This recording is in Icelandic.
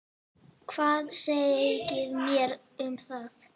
Hvað segið þér um það?